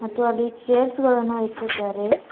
ಮತ್ತು ಅಲ್ಲಿ ಚೇರ್ಸ್ ಗಳನ್ನು ಇಟ್ಟಿದ್ದಾರೆ.